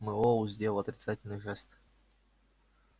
мэллоу сделал отрицательный жест